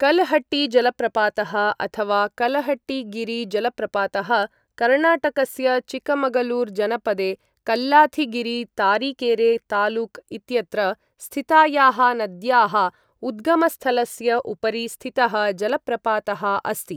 कल्हट्टी जलप्रपातः अथवा कल्हट्टीगिरि जलप्रपातः कर्णाटकस्य चिकमगलूर जनपदे कल्लाथिगिरि, तारिकेरे तालुक इत्यत्र स्थितायाः नद्याः उद्गमस्थलस्य उपरि स्थितः जलप्रपातः अस्ति।